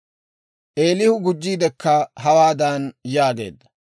Eelihu gujjiidekka hawaadan yaageedda;